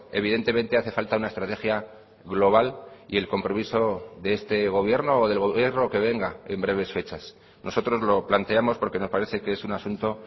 evidentemente hace falta una estrategia global y el compromiso de este gobierno o del gobierno que venga en breves fechas nosotros lo planteamos porque nos parece que es un asunto